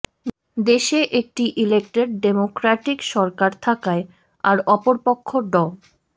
দেশে একটি elected democratic সরকার থাকায় আর অপরপক্ষ ড